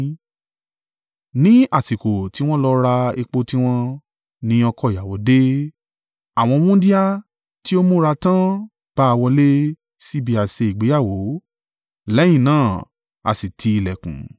“Ní àsìkò tí wọ́n lọ ra epo tiwọn, ni ọkọ ìyàwó dé. Àwọn wúńdíá tí ó múra tán bá a wọlé sí ibi àsè ìgbéyàwó, lẹ́yìn náà, a sì ti ìlẹ̀kùn.